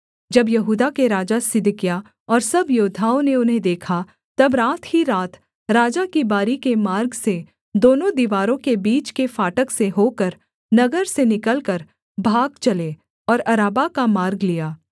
जब यहूदा के राजा सिदकिय्याह और सब योद्धाओं ने उन्हें देखा तब रात ही रात राजा की बारी के मार्ग से दोनों दीवारों के बीच के फाटक से होकर नगर से निकलकर भाग चले और अराबा का मार्ग लिया